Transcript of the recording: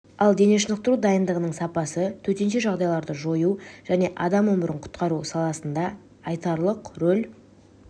ал дене шынықтыру дайындығының сапасы төтенше жағдайларды жою және адам өмірін құтқару саласында айтарлық рөл